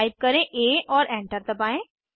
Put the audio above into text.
type करें आ और एंटर दबाएं